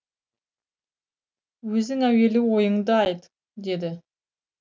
өзің әуелі ойыңды айт деді